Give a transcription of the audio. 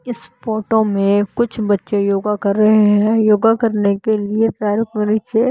इस फोटो में कुछ बच्चे योगा कर रहे हैं योगा करने के लिए पैरों पर नीचे--